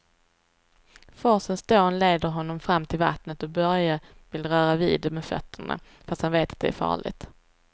Forsens dån leder honom fram till vattnet och Börje vill röra vid det med fötterna, fast han vet att det är farligt.